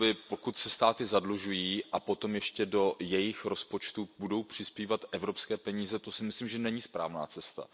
Pokud se státy zadlužují a potom ještě do jejich rozpočtu budou přispívat evropské peníze, to si myslím, že není správná cesta.